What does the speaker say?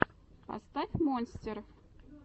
поставь монстер